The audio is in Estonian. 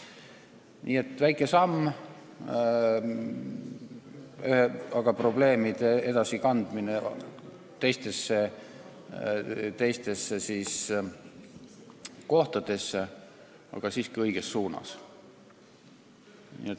Nii et on tehtud väike samm, probleemid on üle kantud teistesse kohtadesse, aga see on samm siiski õiges suunas.